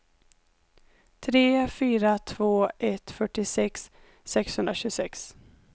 tre fyra två ett fyrtiosex sexhundratjugosex